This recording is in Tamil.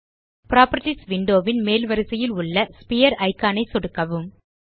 புராப்பர்ட்டீஸ் விண்டோ ன் மேல் வரிசையில் உள்ள ஸ்பீர் இக்கான் ஐ சொடுக்கவும்